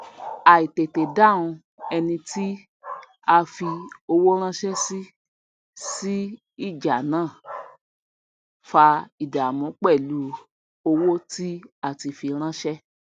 àìtètédáhùn eni tí a fi owó ránsé sí sí ìjà náà fa ìdàmú pèlú owó tí a tí a fi ránsè